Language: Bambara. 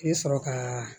I bɛ sɔrɔ ka